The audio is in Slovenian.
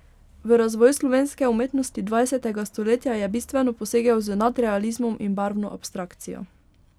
V razvoj slovenske umetnosti dvajsetega stoletja je bistveno posegel z nadrealizmom in barvno abstrakcijo.